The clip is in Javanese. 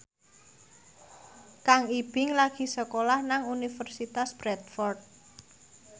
Kang Ibing lagi sekolah nang Universitas Bradford